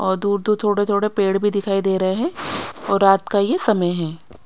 और दूर दूर थोड़े थोड़े पेड़ भी दिखाई दे रहे हैं और रात का ये समय है।